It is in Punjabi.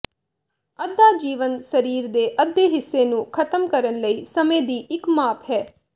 ਅੱਧਾ ਜੀਵਨ ਸਰੀਰ ਦੇ ਅੱਧੇ ਹਿੱਸੇ ਨੂੰ ਖ਼ਤਮ ਕਰਨ ਲਈ ਸਮੇਂ ਦੀ ਇੱਕ ਮਾਪ ਹੈ